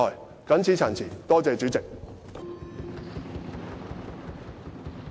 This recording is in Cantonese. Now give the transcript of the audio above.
我謹此陳辭，多謝主席。